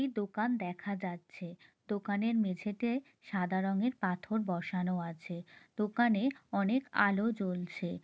এই দোকান দেখা যাচ্ছে। দোকানের মেঝেতে সাদা রঙের পাথর বসানো আছে। দোকানে অনেক আলো জ্বলছে।